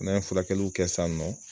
N'an ye furakɛliw kɛ sisan nɔ